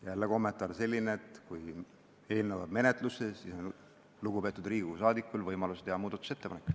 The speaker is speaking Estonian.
Jälle on kommentaar selline, et kui eelnõu jääb menetlusse, siis on lugupeetud Riigikogu liikmel võimalus teha muudatusettepanek.